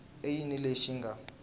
i yini lexi xi nga